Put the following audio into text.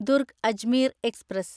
Durg Ajmer express